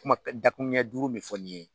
Kuma dakuru ɲɛ duuru min fɔ ni ye